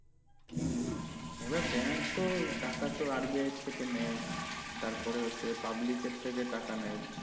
হুম হুম হুম এবার bank তো টাকাতো RBI এর থেকে নেয় তারপরে হচ্ছে public এর থেকে টাকা নেয়